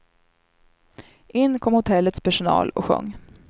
In kom hotellets personal och sjöng.